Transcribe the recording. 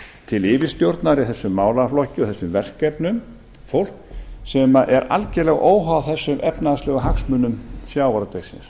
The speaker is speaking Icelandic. til yfirstjórnar í þessum málaflokki og þessum verkefnum fólk sem er algerlega óháð þessum efnahagslegu hagsmunum sjávarútvegsins